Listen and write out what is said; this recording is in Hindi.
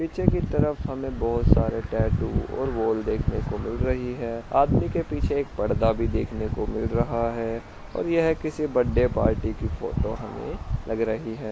पीछे की तरफ हमे बहुत सारे टेटू और वॉल देखने को मिल रही है आदमी के पीछे एक पर्दा भी देखने को मिल रहा है और यह किसी बर्थडे पार्टी की फोटो हमे लग रही है।